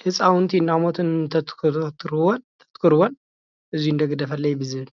ህፃውንቲ እናሞቱ እንተትኽርዎን እዚ እንዶ ግደፍለይ ብዝብል።